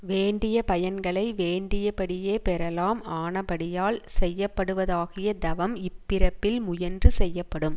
வேண்டிய பயன்களை வேண்டியபடியே பெறலாம் ஆனபடியால் செய்யப்படுவதாகிய தவம் இப்பிறப்பில் முயன்று செய்யப்படும்